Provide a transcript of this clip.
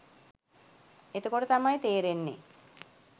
එතකොට තමයි තේරෙන්නේ